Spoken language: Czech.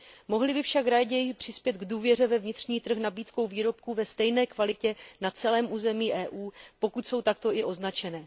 Mohli by však raději přispět k důvěře ve vnitřní trh nabídkou výrobků ve stejné kvalitě na celém území Evropské unie, pokud jsou takto i označené.